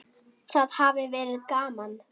Það hafi verið gaman.